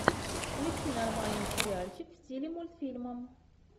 включи нормальный сериальчик в стиле мультфильма